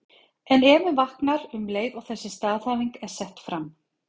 En efinn vaknar um leið og þessi staðhæfing er sett fram.